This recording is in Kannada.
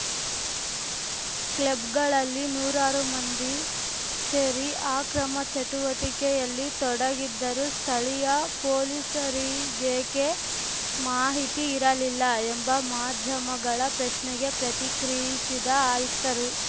ಕ್ಲಬ್‌ಗಳಲ್ಲಿ ನೂರಾರು ಮಂದಿ ಸೇರಿ ಆಕ್ರಮ ಚಟುವಟಿಕೆಯಲ್ಲಿ ತೊಡಗಿದ್ದರೂ ಸ್ಥಳೀಯ ಪೊಲೀಸರಿಗೇಕೆ ಮಾಹಿತಿ ಇರಲಿಲ್ಲ ಎಂಬ ಮಾಧ್ಯಮಗಳ ಪ್ರಶ್ನೆಗೆ ಪ್ರತಿಕ್ರಿಯಿಸಿದ ಆಯುಕ್ತರು